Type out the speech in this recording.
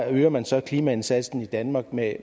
øger man så klimaindsatsen i danmark med